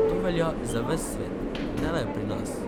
To velja za ves svet, ne le pri nas.